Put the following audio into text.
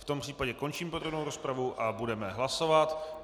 V tom případě končím podrobnou rozpravu a budeme hlasovat.